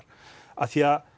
af því að